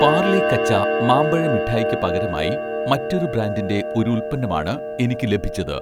പാർലെ കച്ച' മാമ്പഴ മിഠായിക്ക് പകരമായി മറ്റൊരു ബ്രാൻഡിന്‍റെ ഒരു ഉൽപ്പന്നമാണ് എനിക്ക് ലഭിച്ചത്